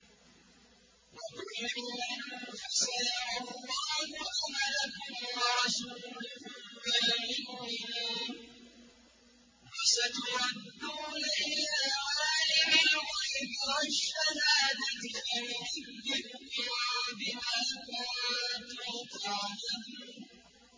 وَقُلِ اعْمَلُوا فَسَيَرَى اللَّهُ عَمَلَكُمْ وَرَسُولُهُ وَالْمُؤْمِنُونَ ۖ وَسَتُرَدُّونَ إِلَىٰ عَالِمِ الْغَيْبِ وَالشَّهَادَةِ فَيُنَبِّئُكُم بِمَا كُنتُمْ تَعْمَلُونَ